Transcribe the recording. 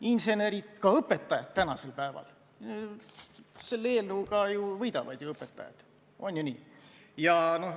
Insenerid ja ka õpetajad – selle eelnõuga võidavad ju õpetajad, on ju nii?